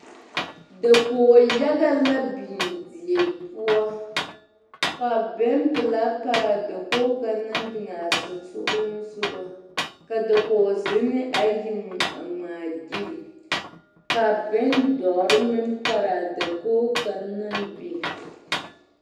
Dakoyaga la biŋ die poɔ ka bompelaa pare a dakogi kaŋa naŋ biŋ a sonsoŋlensoga ka dakozenne ayi a ŋmaa gyile ka bondɔre meŋ pare a dakogi kaŋa naŋ biŋ